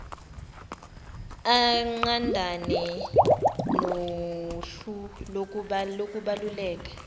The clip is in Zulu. inqandane nohlu lokubaluleka